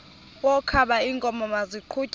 wokaba iinkomo maziqhutyelwe